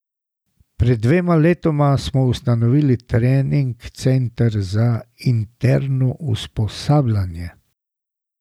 Pred dvema letoma smo ustanovili trening center za interno usposabljanje.